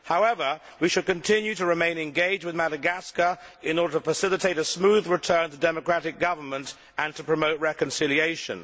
However, we should continue to remain engaged with Madagascar in order to facilitate a smooth return to democratic government and to promote reconciliation.